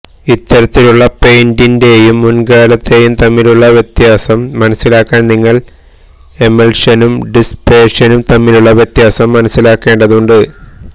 ഇത്തരത്തിലുള്ള പെയിന്റേയും മുൻകാലത്തേയും തമ്മിലുള്ള വ്യത്യാസം മനസിലാക്കാൻ നിങ്ങൾ എമൽഷനും ഡിസ്പേഷനും തമ്മിലുള്ള വ്യത്യാസം മനസിലാക്കേണ്ടതുണ്ട്